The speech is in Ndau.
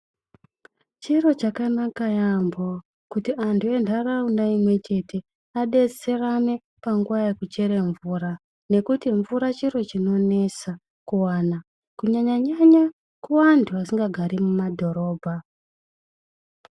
Chiro chakanaka yaemho kuti anhu enharaunda imwe chete adetserane panguwa yekuchera mvura, nekuti mvura chiro chinonesa kuwana kunyanya nyanya kuanthu asikagari mumadhorobha.